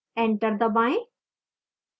enter दबाएं